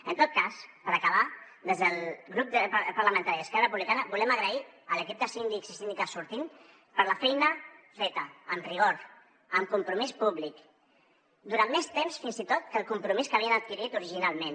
en tot cas per acabar des del grup parlamentari d’esquerra republicana volem agrair a l’equip de síndics i síndiques sortint la feina feta amb rigor amb compromís públic durant més temps fins i tot que el compromís que havien adquirit originalment